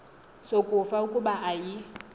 sokufa kuba ayi